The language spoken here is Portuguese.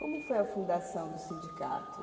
Como foi a fundação do sindicato?